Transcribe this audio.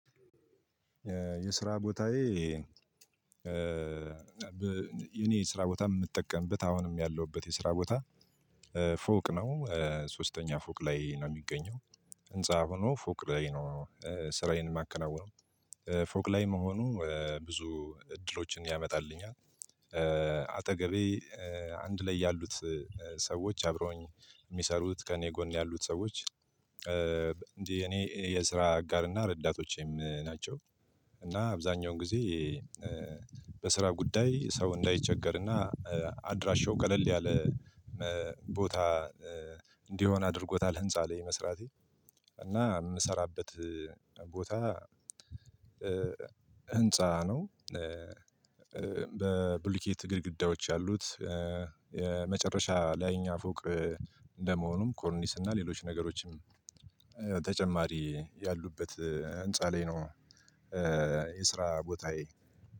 የስራ ቦታዬ የኔ ስራ ቦታን የምጠቀምበት አሁንም ያለሁበት የስራ ቦታ ፎቅ ነው ሶስተኛ ፎቅ ላይ ነው የሚገኘው ህንፃ ሆኖ ፎቅ ላይ ነው ስራዬን የማከናውነው ፎቅ ላይ መሆኑ ብዙ እድሎችን ያመጣልኛል። አጠገቤ አንድ ላይ ያሉት ሰዎች አብረውኝ የሚሰሩት ከእኔ ጎን ያሉት ሰዎች እንዲህ የኔ የስራ አጋር እና ረዳቶቼም ናቸው። እና አብዛኛውን ጊዜ በስራ ጉዳይ ሰው እንዳይቸገርና አድራሻው ቀለል ያለ ቦታ እንዲሆን አድርጎታል። ህንፃ ላይ መስራቴ እና የምሰራበት ቦታ ህንፃ ነው። በብሉይኬት ግድግዳዎች ያሉት የመጨረሻ ላይ እኛ ፎቅ እንደመሆኑም ኮርኒስ እና ሌሎች ነገሮችም ተጨማሪ ያሉበት ህንፃ ላይ ነው። የስራ ቦታዬ